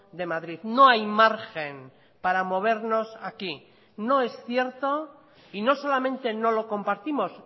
de madrid no hay margen para movernos aquí no es cierto y no solamente no lo compartimos